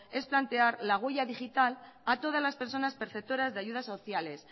es plantear la huella digital a todas las personas preceptoras de ayudas sociales